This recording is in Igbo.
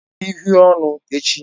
Zụrụ uhiè ọnụ echi!